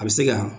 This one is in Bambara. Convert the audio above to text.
A bɛ se ka